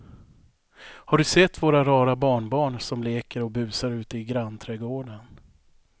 Har du sett våra rara barnbarn som leker och busar ute i grannträdgården!